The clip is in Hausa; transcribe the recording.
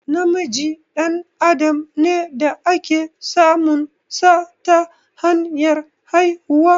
Namiji dan adam ne da ake samun sa ta hanyar haihuwa.